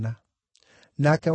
Nake wa keerĩ,